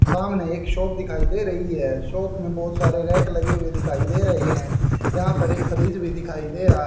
सामने एक शॉप दिखाई दे रही है शॉप में बहोत सारे रैक लगे हुए दिखाई दे रहे है यहां पर एक फरीज भी दिखाई दे रहा--